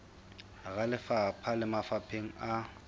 hara lefapha le mafapheng a